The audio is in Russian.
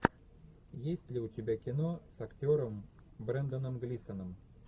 есть ли у тебя кино с актером бренданом глисоном